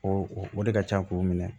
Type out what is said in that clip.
O o o de ka ca k'o minɛ